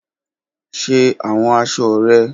Ṣe awọn aṣọ rẹ!